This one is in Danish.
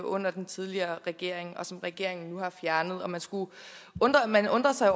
under den tidligere regering og som regeringen nu har fjernet man undrer sig